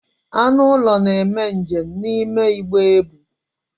Anụ ụlọ na-eme njem n'ime igbe ebu.